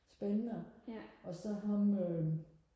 spændende og så ham øhm